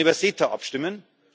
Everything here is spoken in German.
Wir werden über CETA abstimmen.